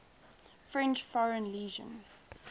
french foreign legion